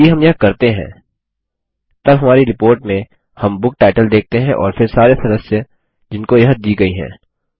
यदि हम यह करते हैं तब हमारी रिपोर्ट में हम बुक टाइटल देखते हैं और फिर सारे सदस्य जिनको यह दी गयी है